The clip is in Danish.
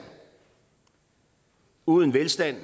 uden velstand